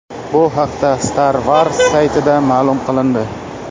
Bu haqda StarWars saytida ma’lum qilindi .